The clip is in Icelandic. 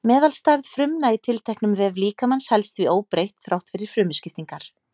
Meðalstærð frumna í tilteknum vef líkamans helst því óbreytt þrátt fyrir frumuskiptingar.